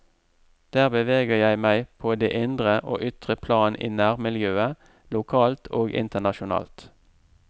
Der beveger jeg meg på det indre og ytre plan i nærmiljøet, lokalt og internasjonalt.